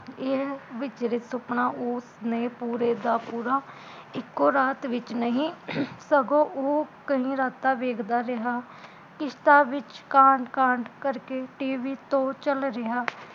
ਇਹ ਵਿਚਰਤ ਸੁਪਨਾ ਓਸਨੇ ਪੂਰੇ ਦਾ ਪੂਰਾ ਇੱਕੋ ਰਾਤ ਵਿੱਚ ਨਹੀਂ, ਸਗੋਂ ਓਹ ਕਈ ਰਾਤਾਂ ਵੇਖਦਾ ਰਿਹਾ ਕਿਸ਼ਤਾਂ ਵਿੱਚ ਕਾਂਡ ਕਾਂਡ ਕਰਕੇ TV ਤੋਂ ਚੱਲ ਰਿਹਾ